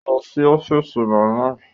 Ó lọ sí ọ́fíìsì màmá ẹ